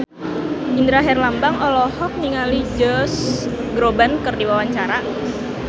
Indra Herlambang olohok ningali Josh Groban keur diwawancara